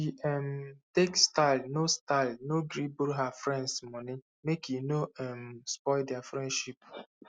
she um take style no style no gree borrow her friends moni make e no um spoil their friendship